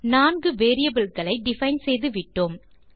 நான்கு வேரியபிள் களை டிஃபைன் செய்துவிட்டோம்